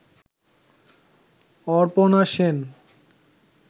Aparna Sen